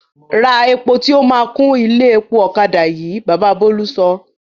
Ra epo tí o máa kún ilé epo ọ̀kadà yìí! Baba Bólú sọ.